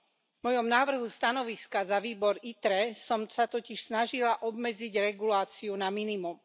V mojom návrhu stanoviska za výbor ITRE som sa totiž snažila obmedziť reguláciu na minimum.